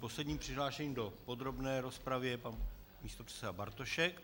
Posledním přihlášeným do podrobné rozpravy je pan místopředseda Bartošek.